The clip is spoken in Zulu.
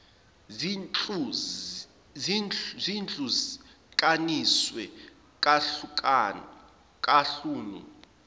zihlu kaniswe kahlanu